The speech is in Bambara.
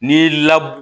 N'i y'i la